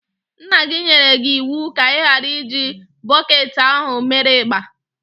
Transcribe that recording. Nna gi nyere gị iwu ka ighara iji bọketi ahụ mere igba.